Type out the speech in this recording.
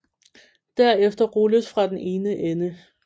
Derefter rulles fra den ene ende